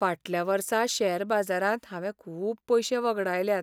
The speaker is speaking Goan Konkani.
फाटल्या वर्सा शेअर बाजारांत हांवें खूब पयशे वगडायल्यात.